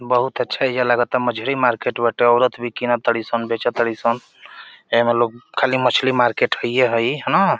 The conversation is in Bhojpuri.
बहुत अच्छा एइजा लागता मछरी मार्केट बाटे। औरत भी कीनत ताड़ी सन बेचत ताड़ी सन। एमें लोग खाली मछली मार्केट हइए ह ई। हँ न।